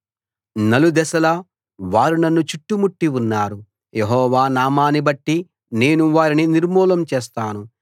నలుదెసలా వారు నన్ను చుట్టుముట్టి ఉన్నారు యెహోవా నామాన్నిబట్టి నేను వారిని నిర్మూలం చేస్తాను